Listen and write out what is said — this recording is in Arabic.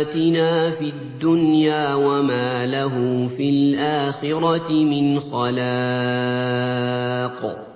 آتِنَا فِي الدُّنْيَا وَمَا لَهُ فِي الْآخِرَةِ مِنْ خَلَاقٍ